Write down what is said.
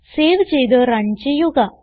save ചെയ്ത് run ചെയ്യുക